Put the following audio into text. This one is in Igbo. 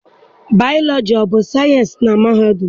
Bayọlọji abụ sayịensị na mahadum?